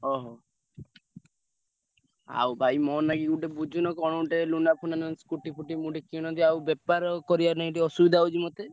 ଓହୋ, ଆଉ ଭାଇ ମୋ ନାଗି ଗୋଟେ ବୁଝୁନ କଣ ଗୋଟେ Luna ଫୁନା ନହେଲେ scooty ଫୁଟି ମୁଁ ଗୋଟେ କିଣନ୍ତି ଆଉ ବେପାର କରିଆ ନାଇ ଟିକେ ଅସୁବିଧା ହଉଛି ମତେ।